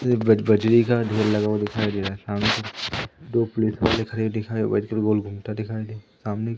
एक बज बजरी का ढेर लगा हुआ दिखाई दे रहा है सामने दो पुलिस वाले खड़े दिखाई घूमता दिखाई दे सामने--